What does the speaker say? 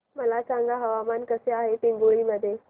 मला सांगा हवामान कसे आहे पिंगुळी मध्ये